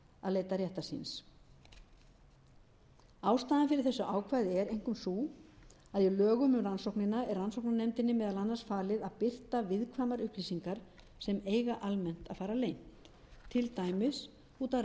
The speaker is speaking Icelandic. að leita réttar síns ástæðan fyrir þessu ákvæði er einkum sú að í lögum um rannsóknina er rannsóknarnefndinni meðal annars falið að birta viðkvæmar upplýsingar sem eiga almennt að fara leynt til dæmis út af